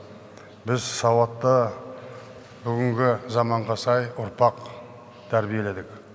біз сауатты бүгінгі заманға сай ұрпақ тәрбиеледік